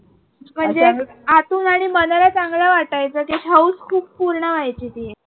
म्हणजे आतून आणि मनाला चांगला वाटायचं ते हाऊस खूप पूर्ण व्हायची ती.